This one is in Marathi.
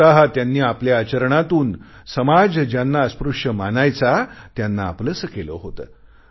स्वतः त्यांनी आपल्या आचरणातून समाज ज्यांना अस्पृश्य मानायचा त्यांना आपलेसे केले होते